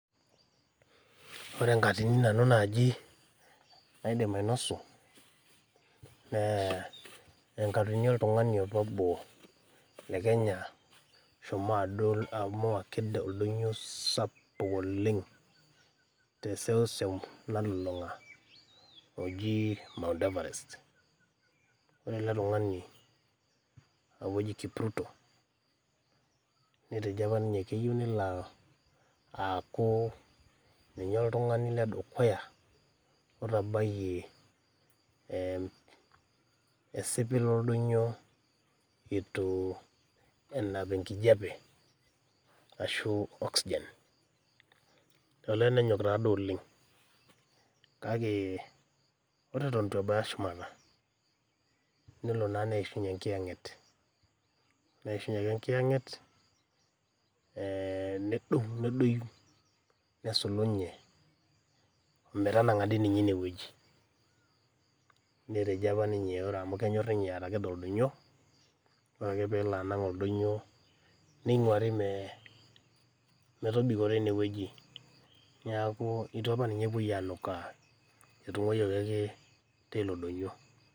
Ore enkatini nanu naaji naidim ainosu naa enkatini e oltungani apa obo le Kenya oshomo adol amu kedeol eldoinyo sapuk oleng te seuseu nalulunga ojii mount everest, ore ale tungani naaku eji Kipruto netejo apa ninye keyeu nelo aaku ninye ltungani le dukuya otabaiye esipil oldoinyo eitu enap enkijepe ashu oxygen. Olewa nenyok taa duo oleng kake ore eton ebaya shumata, nelo naa neishunye inkiyeng'et, neishunye ake inkiyeng'et nedou, nesulunye metanang'a dei ninye ineweji, netejo apa ninye ore amuu kenyorr ninye oldoinyo, ore akle peelo anang' oldoinyo neinguari metobiko teineweji, naaku eitu apa ninye epoi anukaa, etung'aiyeki ake teilo doinyo.